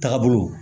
Taga bolo